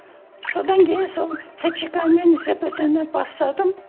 содан кейін сол тчка мен зпт ны бастадым